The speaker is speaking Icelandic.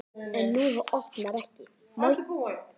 En hún opnar ekki.